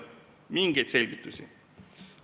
Mitte mingeid selgitusi.